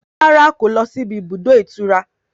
Rárá kò lọ síbi ibùdó ìtura